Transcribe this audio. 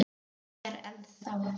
Hún er ennþá.